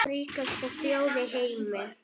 Ríkasta þjóð í heimi.